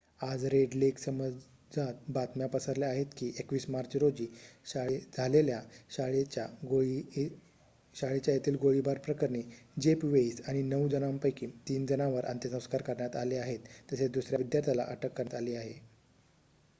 आज Red Lake समाजात बातम्या पसरल्या आहेत की 21 मार्च रोजी झालेल्या शाळेच्या येथील गोळीबार प्रकरणी जेफ वेइस आणि नऊ जणांपैकी तीन जणांवर अंत्यसंस्कार करण्यात आले आहेत तसेच दुसर्‍या विद्यार्थ्याला अटक करण्यात आली आहे